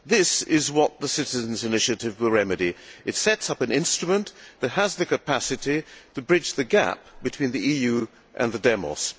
This is what the citizens' initiative will remedy. It sets up an instrument that has the capacity to bridge the gap between the EU and the demos.